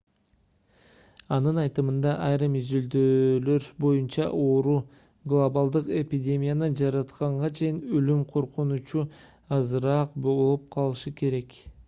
анын айтымында айрым изилдөөлөр боюнча оору глобалдык эпидемияны жаратканга чейин өлүм коркунучу азыраак болуп калышы керек